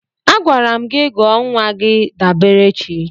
Agwara m gị gọọ nwa gị Daberechi!